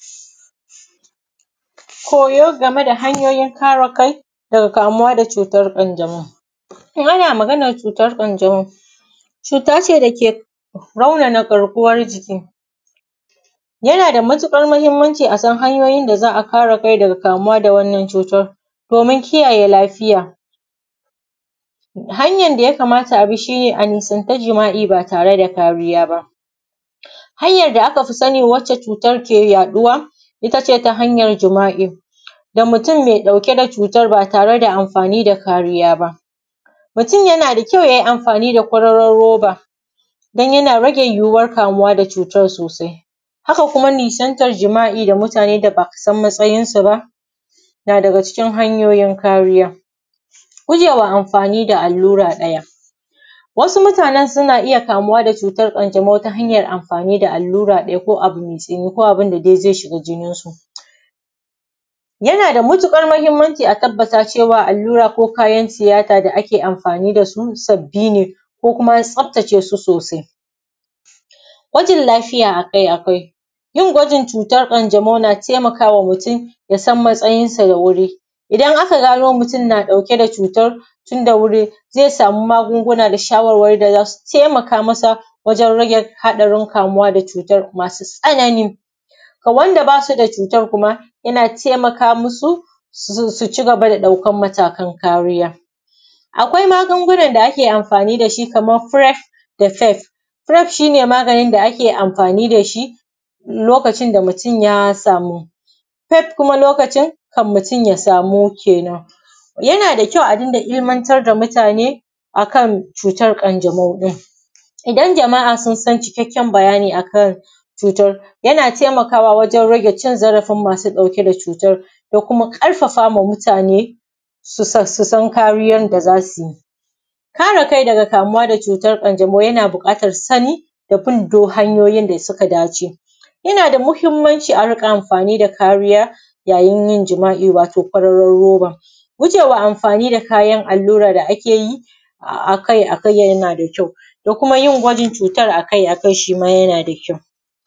Koya game da hanyoyin kare kai daga kamuwa daga cutar ƙanjamau. In ana maganar cutar ƙanjamau cuta ce da ke raunana garkuwan jiki. Yana da matuƙar muhmmanci a san hanyoyin da za a bi a kare kai aga kamuwa daga cutar ƙanjamau domin kiyaye lafiya. Hanyan da yakama abi shi ne a nisanci jima’i ba tare da kariya ba. Hanyar da aka fi sani wanda cutar ke yaɗuwa, it ace ta hanyar jima’i, da mutumin da ke ɗauke da shi ba tare da kariya ba. Mutum yana da kyau yay i amfani da kororon robs, don yana rage yiyuwar kamuwa da cutar sosai. Haka kuma nisantan jima’i da mutanen da a san matsayinsu ba, na daga cikin hanyoyin kariya. Gujewa amfani da allura ɗaya. Wasu mutanen suna iya kamuwa da cutar ƙanjamau ta hanyar amfani da allura ɗaya ko abu mai tsini ko abun da zai shiga jininsu. Yana da matuƙar muhimmanci a tabata cewa allura ko kayan tiyata da ake amfani da su, sabbi ne ko kuma an tsaftace su sosai. Gwajin lafiya a kai a kai, yin gwajin ƙanjamau na taimakawa mutum ya san matsayinsa da wuri. Idan aka gano mutun na ɗauke da cutar tun da wuri, zai sami magunguna da shawarwari masu taimaka masa wajen haɗarin kamuwa daga cutar masu tsanani. Ga wand aba su da cutar kuma yana taimaka masu, su cigaba da ɗaukar matakan kariya. Akwai magungunan da ake amfani da su kamar firef daf fef, firef shi ne maganin da ake amfani da shi lokacin da mutum ya samu, fef kuma lokacin da kafin mutun ya samu kenan. Yana da kyau a dinga ilimantar da mutane a kan cutan ƙanjamau ɗin. idan jama'a sun san cikakken bayani a kan cutan yana taimakawa wurin cin zarafin masu ɗauke da cutan, dakuma ƙarfafama mutane su su san kariyan da za su yi. Kare kai daga cutar ƙanjamau yana buƙatar sani, da bin duk hanyoyin da suka dace. Yana da muhimmanci a dinga amfani da kariya yayin yin joma’I wato kororon roba. Gujewa kayan allura da ake yi aki a kai yana da kyau da kuma yin gwaji akai akai shi mayana da kyau da kuma yin gwaji akai akai shi ma yana da kyau